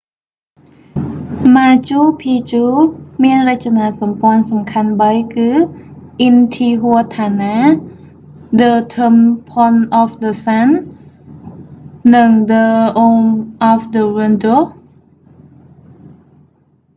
ម៉ាជូ ភីជូ machu picchu មានរចនាសម្ព័ន្ធសំខាន់បីគឺ អ៊ីនធីហួថាណា intihuatana ដឹថឹមផលអហ្វដឹសាន់ the temple of the sun និងដឹរូមអហ្វដឹវីនដូស៍ the room of the windows